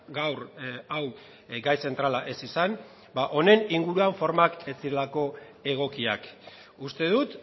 gaur hau gai zentrala ez izan ba honen inguruan formak ez zirelako egokiak uste dut